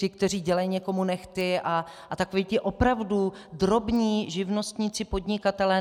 Ti, kteří dělají někomu nehty a takoví ti opravdu drobní živnostníci, podnikatelé.